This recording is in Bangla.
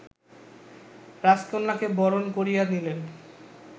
রাজকন্যাকে বরণ করিয়া নিলেন